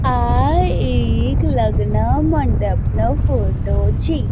આ એક લગ્ન મંડપ નો ફોટો છે.